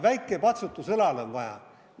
Väikest patsutust õlale on vaja.